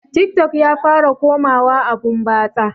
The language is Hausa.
Tik tok ya fara komawa abun batsa